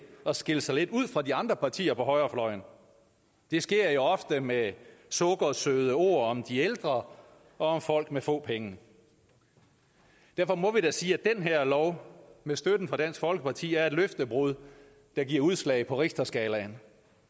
at skille sig lidt ud fra de andre partier på højrefløjen det sker jo ofte med sukkersøde ord om de ældre og om folk med få penge derfor må vi da sige at den her lov med støtten fra dansk folkeparti er et løftebrud der giver udslag på richterskalaen